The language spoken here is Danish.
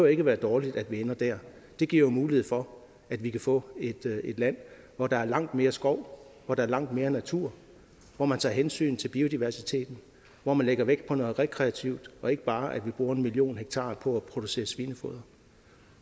ikke være dårligt at vi ender der det giver jo mulighed for at vi kan få et land hvor der er langt mere skov hvor der er langt mere natur hvor man tager hensyn til biodiversiteten hvor man lægger vægt på noget rekreativt og ikke bare bruger en million ha på at producere svinefoder